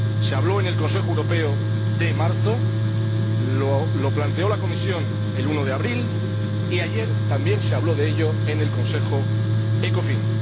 Se habló en el Consejo Europeo de marzo, lo planteó la Comisión el 1 de abril y ayer también se habló de ello en el Consejo Ecofin.